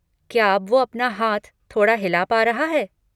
क्या अब वो अपना हाथ थोड़ा हिला पा रहा है?